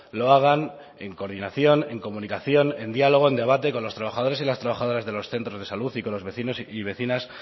lo hagan en coordinación en comunicación en diálogo en debate con los trabajadores y las trabajadoras de los centros de salud y con los vecinos y vecinas